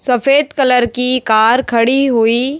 सफेद कलर की कार खड़ी हुई--